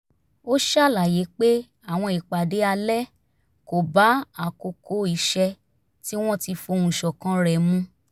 ó ṣàlàyé pé àwọn ìpàdé alẹ́ kò bá àkókò iṣẹ́ tí wọ́n ti fohùn ṣọ̀kan rẹ̀ mu